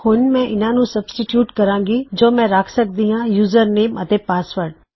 ਹੁਣ ਮੈ ਇਹਨਾ ਨੂੰ ਸਬਸਟੀਟਯੂਟ ਕਰਾਂਗੀ ਜੋ ਮੈਂ ਰਖ ਸਕਦੀ ਹਾਂ ਯੂਜ਼ਰਨੇਮ ਅਤੇ ਪਾਸਵਰਡ